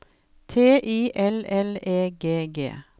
T I L L E G G